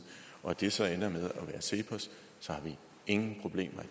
og at det så ender med at blive cepos så har vi ingen problemer